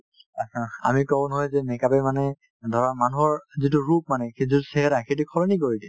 আমি ক'ব নোৱাৰো যে make up য়ে মানে ধৰা মানুহৰ যিটো ৰূপ মানে সেই যিটো চেহেৰা সেইটোক সলনি কৰি দিয়ে